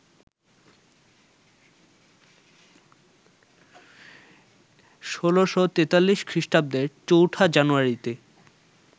১৬৪৩ খ্রিস্টাব্দের ৪ঠা জানুয়ারিতে